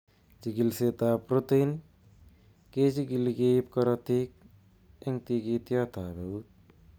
Chigilisietab protein kechigili keib korotik en tikitiot ab eut.